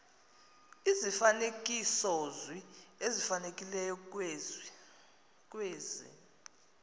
izifanekisozwi ezifanelekileyo kwezi